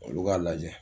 Olu k'a lajɛ